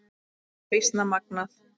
Er það býsna magnað.